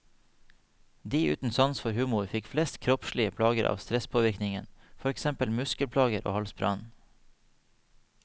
De uten sans for humor fikk flest kroppslige plager av stresspåvirkningen, for eksempel muskelplager og halsbrann.